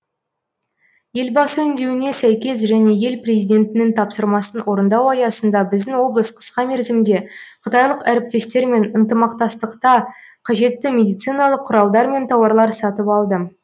елбасы үндеуіне сәйкес және ел президентінің тапсырмасын орындау аясында біздің облыс қысқа мерзімде қытайлық әріптестермен ынтымақтастықта қажетті медициналық құралдар мен тауарлар сатып алды